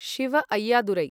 Shiva Ayyadurai